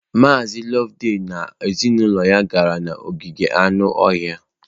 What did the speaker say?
Mazị Loveday na ezinụlọ ya gara n'ogige anụ ọhịa.